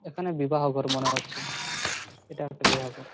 এখানে বিবাহ ঘর মনে হচ্ছে। এটা একটা বিবাহ ঘর ।